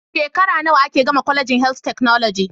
Shekara nawa ake gama colegin health technology